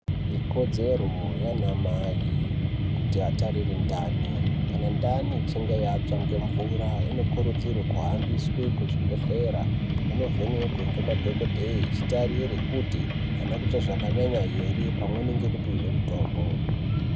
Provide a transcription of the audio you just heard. Ikodzero yanamai kuti atarira ndani, kana ndani ichinge yatsva ngemvura inokurudzirwe kuhambiswe kuzvibhedheya inovhenekwe ngemadhokodheye ichitarire kuti haina kutsva zvakanyanya here, pamweni ngekupihwe mutombo.